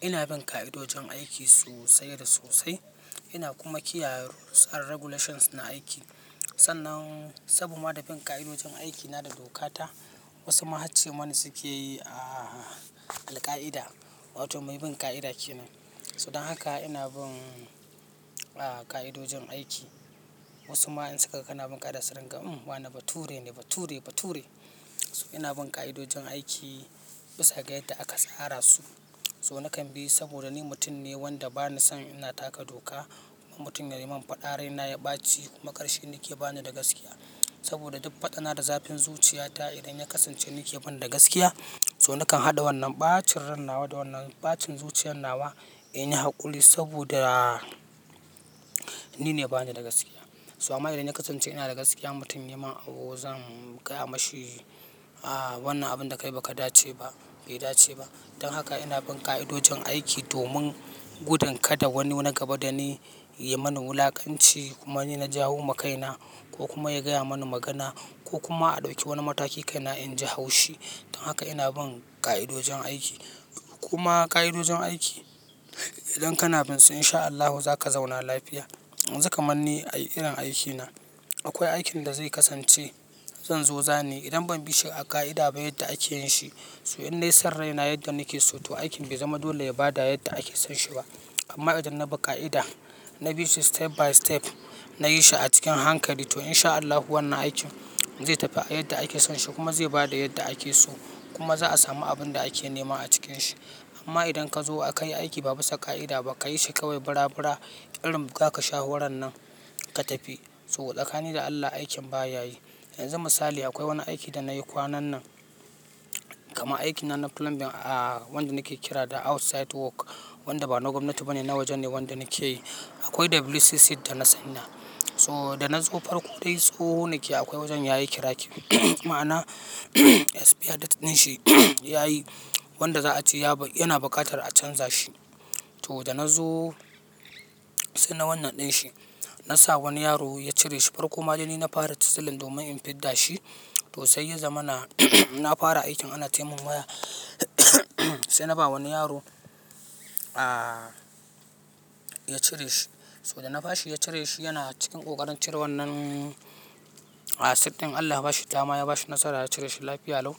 Ina bin ka'idojin aiki sosai da sose. Ina kuma kiyaye rules and regulations na aiki. Sannan sabo ma bin ƙa'idojin aiki na da dokata, wasu ma hacce mani suke yi, ah, alƙa'ida, wato mai bin ƙa'ida ke nan. So dan haka ina bin, ah, ƙa'idojin aiki. Wasu ma in suka ga kana bin ƙa'ida su ringa, "Uhm, wane Bature ne, bature, bature. Ina bin k'idojin aiki bisa ga yadda aka sara su. So na kan bi saboda ni mutum ne wanda ba ni son ina taka doka. Mutum yayi man faɗa rai na ya ɓaci, kuma karshi ni ke ba ni da gaskiya. Saboda duk faɗa na da zafin zuciyata idan ya kasance ni ke ban da gaskiya. So na kan haɗa wannan ɓacin ran nawa da wannan ɓacin zuciyan nawa in yi haƙuri saboda ni ne ba ni da gaskiya. So amma idan ya kasance ina da gaskiya mutum yai man abu zan gaya mashi aa wannan abun dakai baka dace ba bai dace ba dan haka ina bin ƙa'idojin aiki domin gudan kada wani na gaba da ni yai mani wulakanci kuma ni na jawo ma kaina ko kuma ya gaya mani magana ko kuma a ɗauki wani mataki kaina inji haushi. Dan haka ina bin ƙa'idojin aiki. Kuma ka'idojin aiki idan kana bin su in sha Allahu za ka zauna lafiya. Za ka man ni ai irin aiki na akwai aikin da zai kasance zan zo zaniyi idan ban bi shi a ka'ida ba yadda ake yin shi. To in nai son raina yadda nike so aikin bai zama dole ya bada yadda ake son shi ba amma idan na bi ƙa'ida, na bi shi step by step, na yi shi a cikin hankali to in sha Allahu wannan aikin zai tafi a yadda ake son shi kuma zai ba da yadda ake so kuma za a sami abin da ake nema a cikin shi. Amma idan ka zo akai aiki ba busa sa ƙa'ida ba kayi shi kawai bira bira, ƙirin ga ka sha huran nan ka tafi. So tsakani da Allah aikin ba ya yi. Yanzu misali akwai wani aiki da na yi kwanan nan. Kaman aikin nan na plumbing a wanda nake kira da outsite work wanda ba na gwamnati ba ne, na wajen ne wanda nake yi. Akwai WC sip da na sanya. So da na zo farko dai tsoho ne ke akwai wajen yayi cracking. Ma'ana esfiya date ɗin shi ya yi wanda za a ce ya ba, yana buƙatar a ce za'a canza shi. To da na zo sai na wannan ɗin shi, na sa wani yaro ya cire shi farko. Ma dai ni na fara tisilin domin in fidda shi to sai ya zama na na fara aikin ana taimon waya sai na ba wani yaro, ah, ya cire shi. So da na bashi ya cire shi yana cikin ƙoƙarin cire wannan, ah, sit ɗin Allah ya ba shi dama ya ba shi nasara ya cire shi lafiya lau.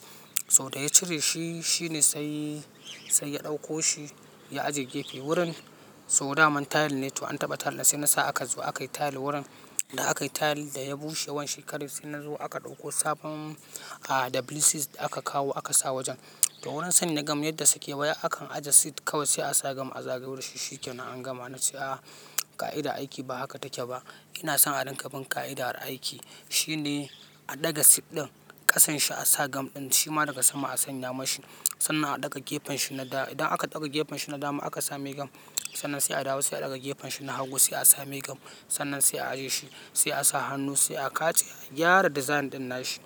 So da ya cire shi, shi ne sai, sai ya ɗauko shi ya ajiye gefe wurin. So dama tile ne to an taɓa tile sai na sa aka zo aka yi tile wurin. Da akai tile daya bushe wan shekare sai nazo aka ɗauko sabon WC sit aka sa wajen to wurin sanya gam yadda suke wai akan aje sit kawai sai a sa gam a zagayo da shi shikenan an gama na ce, "Ah, ka'ida aiki ba haka take ba." ina san a rinka bin ka'idar aiki. Shi ne a ɗaga sit ɗin ƙasan shi a sa gam ɗin shima daga sama a sanya mashi sannan a ɗaga gefen shi na dama. Idan aka ɗaga gefen shi na dama aka sa mai gam sannan sai a dawo sai a ɗaga gefen shi na hagu sai a sa mai gam sannan sai a aje shi sai a sa hannu sai a katse. A gyara design ɗin nashi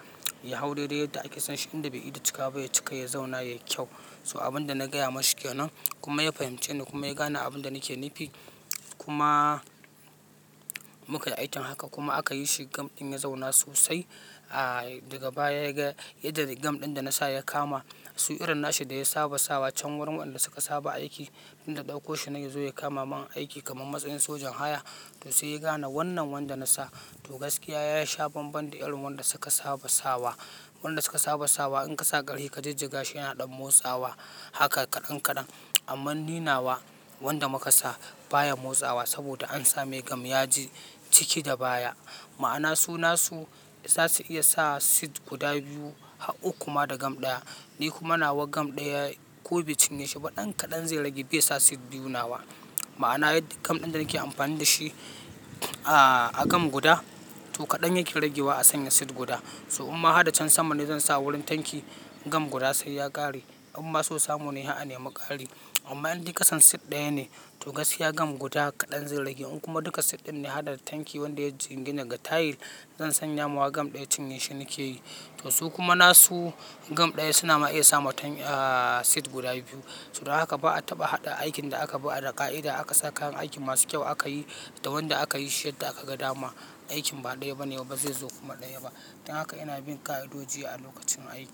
ya hau daidai yadda ake son shi. Inda bai ida cika ba ya cika ya zauna yai kyau. So abin da na gaya mashi ke nan kuma ya fahimci ni kuma ya gane abin da nake nufi. Kuma muka yi aikin haka kuma aka yi shi gam ɗin ya zauna sosai. Ah, daga baya ya ga inda gam ɗin da na sa ya kama. Tun irin nashi da ya saba sawa can wurin wanda suka saba aiki, inda ɗauko shi nai ya zo ya kama man aiki kamar matsayin sojan haya to sai ya gane wannan wanda na sa. To gaskiya ya sha bambam da irin wanda suka saba sawa. Wanda suka saba sawa in ka sa ƙarfi ka jijjiga shi yana ɗan motsawa haka kaɗan kaɗan. Amma ni nawa wanda muka sa baya motsawa saboda ansa mai gam yaji ciki da baya. Ma'ana su nasu za su iya sa sit guda biyu har uku ma da gam ɗaya. Ni kuma nawa gam ɗaya ko bai cinye shi ba ɗan kaɗan zai rage bai sa sit biyu nawa. Ma'ana yad gam ɗin da nake amfani dashi ah a gam guda to kaɗan yake ragewa a sanya sit guda. So imma hada can sama ne zan sa wurin tanki gam guda sai ya ƙare. Umma so samu ne har a nemi ƙari. Amma in dai ƙasan sit ɗaya ne to gaskiya gam guda kaɗan zai rage. In kuma duka sit ɗin ne hada tanki wanda ya jingina ga tile zan sanya mawa gam ɗaya cinye shi nike yi. To su kuma nasu gam ɗaya suna ma iya sama tan, ah, sit guda biyu. So don haka ba a taɓa haɗa aikin da aka bi ar ƙa'ida aka sa kayan aikin masu kyau aka yi da wanda aka yi shi yadda aka ga dama aikin ba ɗaya ba ne kuma ba zai zo kuma ɗaya ba. Dan haka ina bin ƙa'idoji a lokacin aiki.